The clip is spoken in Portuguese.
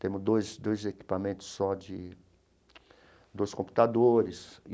Temos dois dois equipamentos só de... dois computadores.